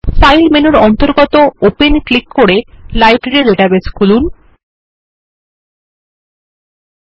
file মেনুর অন্তর্গত Open এ ক্লিক করে আমাদের লাইব্রেরি ডেটাবেস খোলা যাক